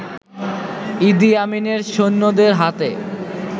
ইদি আমিনের সৈন্যদের হাতে